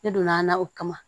Ne donn'a na o kama